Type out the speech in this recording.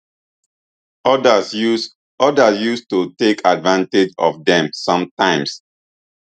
odas use odas use to take advantage of dem sometimes